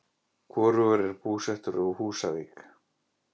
Hvorugur er búsettur á Húsavík.